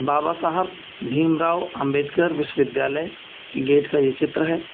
बाबा साहब भीमराव अंबेडकर विश्वविद्यालय की गेट का यह चित्र है।